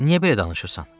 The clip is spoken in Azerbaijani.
Niyə belə danışırsan?